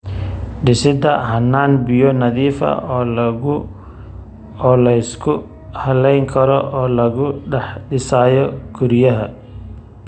Dhisidda hannaan biyo nadiif ah oo la isku halayn karo oo laga dhex dhisayo guryaha.